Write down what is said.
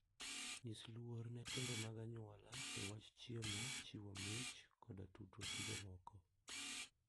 Nyis luor ne timbe mag anyuola e wach chiemo, chiwo mich, koda tudruok gi jomoko.